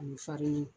Ani farani